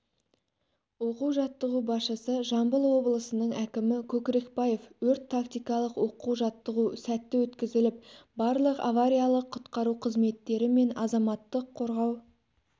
оқу-жаттығу басшысы жамбыл облысының әкімі көкрекбаев өрт-тактикалық оқу-жаттығу сәтті өткізіліп барлық авариялық-құтқару қызметтері мен азаматтық қорау